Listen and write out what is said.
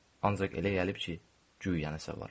Ancaq elə gəlib ki, güya nəsə var.